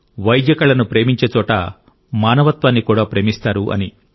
వైద్య కళను ప్రేమించే చోట మానవత్వాన్ని కూడా ప్రేమిస్తారు అని